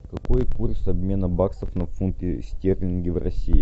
какой курс обмена баксов на фунты стерлинги в россии